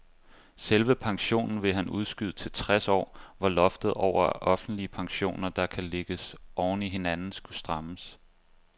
Selve pensionen ville han udskyde til tres år, hvor loftet over offentlige pensioner, der kan lægges oven i hinanden, skulle strammes.